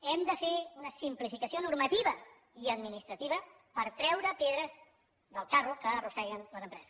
hem de fer una simplificació normativa i administrativa per treure pedres del carro que arrosseguen les empreses